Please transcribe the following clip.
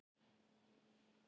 Gretar, hringdu í Sumarlilju.